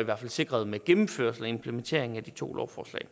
i hvert fald sikret med gennemførelse og implementering af de to lovforslag